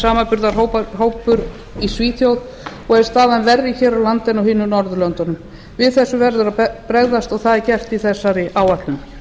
samanburðarhópur í svíþjóð og er staðan verri hér á landi en á hinum norðurlöndunum á þessu verður að bregðast og það er gert í þessari áætlun